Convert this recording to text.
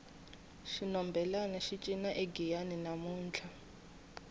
xinhombelani xi cina egiyani namuntlha